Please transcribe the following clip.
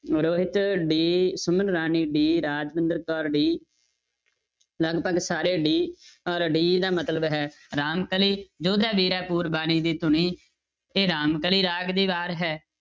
Rohit d Suman Rani d Rajwinder Kaur d ਲਗਪਗ ਸਾਰੇ d ਔਰ d ਦਾ ਮਤਲਬ ਹੈ ਰਾਮਕਲੀ, ਜੋਧੇ ਵੀਰੇ ਪੂਰਬਾਣੀ ਦੀ ਧੁਨੀ ਇਹ ਰਾਮਕਲੀ ਰਾਗ ਦੀ ਵਾਰ ਹੈ,